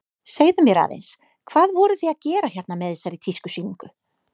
Segðu mér aðeins, hvað voruð þið að gera hérna með þessari tískusýningu?